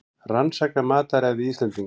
Rannsaka mataræði Íslendinga